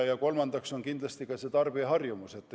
Ja kolmandaks on kindlasti tarbijaharjumus.